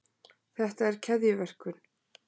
þetta er keðjuverkun